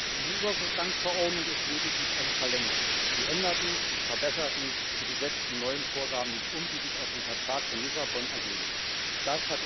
Diese Übergangsverordnung ist lediglich eine Verlängerung. Sie ändert nichts, sie verbessert nichts und sie setzt die neuen Vorgaben, die sich aus dem Vertrag von Lissabon ergeben, nicht um.